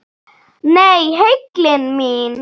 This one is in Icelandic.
Nei, heillin mín.